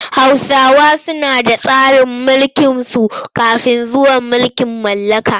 Hausawa suna da tsarin mulkinsu kafin zuwan mulkin mallaka.